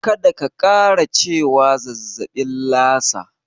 Kada ka ƙara cewa zazzaɓin Lasa.